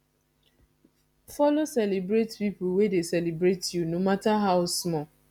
follow celebrate pipo wey de celebrate u no matter how small